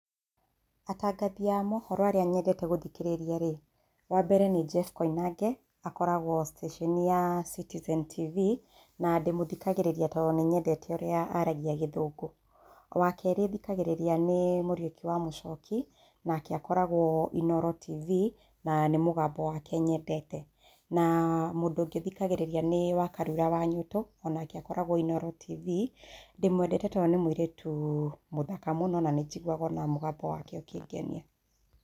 Atangathi a mohoro arĩa nyendete gũthikĩrĩria rĩ, wa mbere nĩ Jef Koinange, akoragwo station ya Citizen tv, na ndĩmũthikagĩrĩria tondũ wa ũrĩa aragia gĩthũngũ. Wa kerĩ thikagĩrĩria nĩ Mũriũki wa Mũchoki nake akoragũo Inooro tv, na nĩ mũgambo wake nyendete. Na mũndũ ũngĩ thikagĩrĩria nĩ Wakarura wa Nyũtũ, onake akoragwo Inooro tv, ndĩmwendete tondũ nĩ mũirĩtu mũthaka mũno, na nĩ njiguaga ona mũgambo wake ũkĩngenia.